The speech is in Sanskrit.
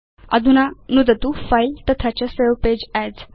अधुना नुदतु फिले तथा च सवे पगे अस्